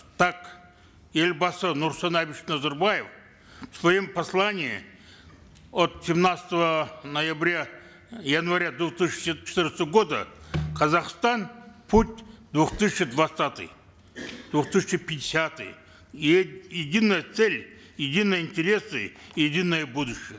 так елбасы нурсултан абишевич назарбаев в своем послании от семнадцатого ноября января две тысячи четырнадцатого года казахстан путь в две тысячи двадцатый две тысячи пятидесятый единая цель единые интересы единое будущее